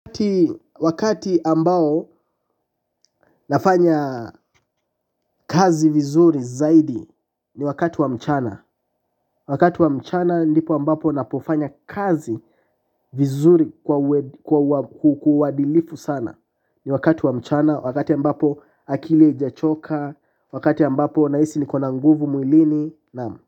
Wakati ambao nafanya kazi vizuri zaidi ni wakati wa mchana. Wakati wa mchana ndipo ambapo napofanya kazi vizuri kwa uadilifu sana. Ni wakati wa mchana, wakati ambapo akili haijachoka, wakati ambapo nahisi niko na nguvu mwilini naam.